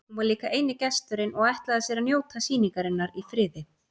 Hún var líka eini gesturinn og ætlaði sér að njóta sýningarinnar í friði.